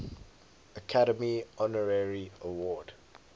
academy honorary award